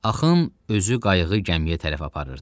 Axın özü qayığı gəmiyə tərəf aparırdı.